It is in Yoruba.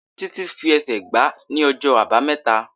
Títí fi ẹsẹ̀ gbá ní ọjọ́ Àbámẹ́ta.